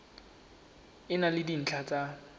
e na le dintlha tsa